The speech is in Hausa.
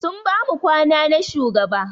Sun bamu kwana na shugaba.